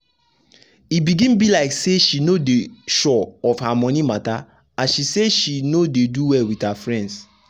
e begin be like say she no dey sure of her monie matter as she see say she no dey do well with her friends.